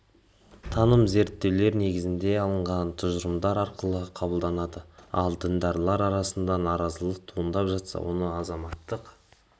таным зерттеулер негізінде алынған тұжырымдар арқылы қабылдатады ал діндарлар арасынан наразылық туындап жатса оның азаматтық